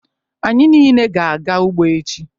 Anyị niile ga-aga ugbo echi.